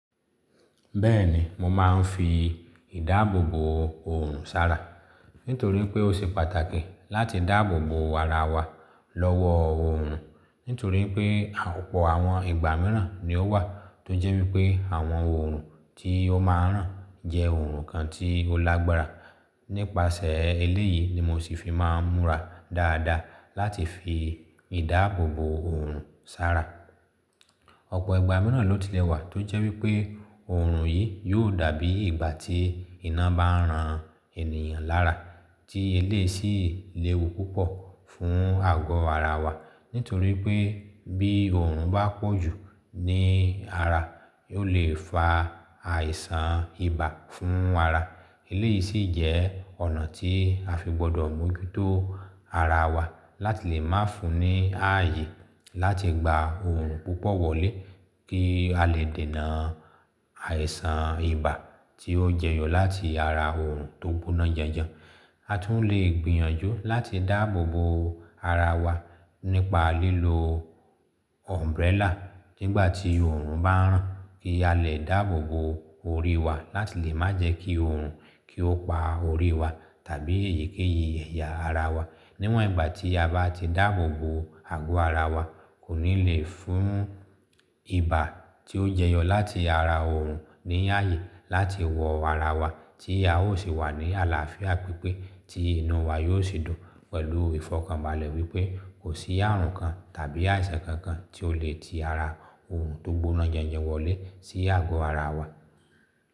Bẹ́ẹ̀ni, mo máa ń fi ìdáàbòbò òòrùn sára nítorí pé ó ṣe pàtàkì láti dáàbòbò ara wa lọ́wọ́ òòrùn. Nítorí pé ọ̀pọ̀ àwọn ìgbà mìíràn ni ó wà tó jẹ́ wípé àwọn òòrùn tí ó máa ń ràn jẹ́ òòrùn kan tí ó lágbára. Nípasẹ̀ eléyìí ni mo sì fi máa ń múra dáadáa láti fi ìdáàbòbò òòrùn sára. Ọ̀pọ̀ ìgbà mìíràn ló ti lẹ́wà tó jẹ́ wípé òòrùn yìí yóò dàbí ìgbà tí iná bá ń ran ènìyàn lára tí eléyìí sì léwu púpọ̀ fún àgọ́ ara wa. Nítorí pé bí òòrùn bá pọ̀jù ní ara, o leè fa àìsàn ibà fún ara. Eléyìí sì jẹ́ ọ̀nà tí a fi gbọdọ̀ mú o jú tó ara wa láti lè má fun ní ààyè láti gba òòrùn púpọ̀ wọlé kí a lè dènà àìsàn ibà tí ó jẹyọ láti ara òòrùn tó gbóná janjan. A tún lè gbìyànjú láti dáàbòbò ara wa nípa lílo umbrella nígbà tí òòrùn bá ń ràn kí a lè dáàbòbò orí wa láti lè má jẹ́ kí òòrùn kí ó pa orí wa tàbí èyíkéyìí ẹ̀yà ara wa. Níwọn ìgbà tí a bá ti dáàbòbò ago ara wa, kò ní leè fún ibà tí ó jẹyọ láti ara òòrùn ní ààyè láti wọ̀ ara wa tí a ó sì wà ní àlàáfíà pípé tí inú wa yóò sì dùn pẹ̀lú ìfọ̀kànbalẹ̀ wípé kò sí ààrùn kan tàbí àìsàn kankan tí ó lè ti ara òòrùn tó gbóná janjan wọlé sí àgọ́ ara wa.